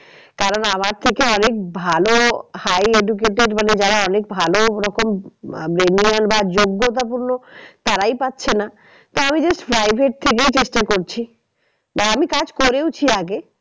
কারণ আমার থেকে অনেক ভালো high educated মানে যারা অনেক ভালো ওরকম আহ benign বা যোগ্যতাপূর্ণ তারাই পাচ্ছে না। তা আমি just private থেকে চেষ্টা করছি বা আমি কাজ করেওছি আগে।